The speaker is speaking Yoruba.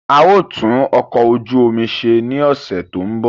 A ó tún ọkọ̀ ojú omi ṣe ní ọ̀sẹ̀ tó ń bọ̀